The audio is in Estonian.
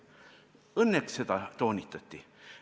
Õnneks seda toonitati.